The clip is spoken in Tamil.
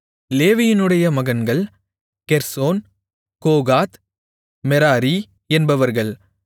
லேவியினுடைய மகன்கள் கெர்சோன் கோகாத் மெராரி என்பவர்கள்